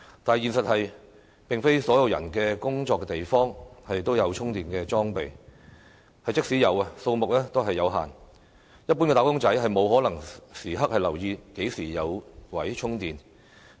但是，現實是並非所有人的工作地方也有充電裝備，即使有，數目亦有限，一般"打工仔"沒可能時刻留意何時有充電位。